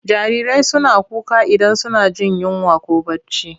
Jarirai suna kuka idan suna jin yinwa ko barci.